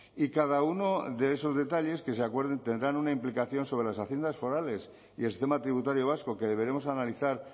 y cada uno de esos detalles que se acuerden tendrán una implicación sobre las haciendas forales y el sistema tributario vasco que deberemos analizar